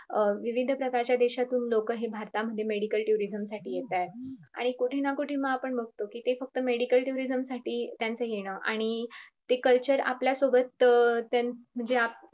अं वैविध्य प्रकारच्या देशातून लोक हे भारता मध्ये medical turinum साठी येतात आणि कोठेना कोठे मग आपण बगतो कि ते फक्त medical turinum त्यांचं येण आणि ते culture आपल्या सोबत त म्हणजे अं